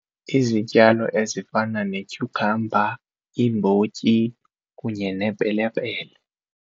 Izityalo ezifana netyukhamba, iimbotyi kunye nepelepele.